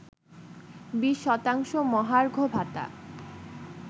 ২০ শতাংশ মহার্ঘ ভাতা